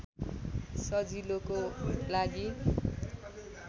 सजिलोको लागी